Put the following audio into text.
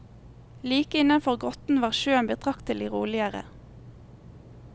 Like innenfor grotten var sjøen betraktelig roligere.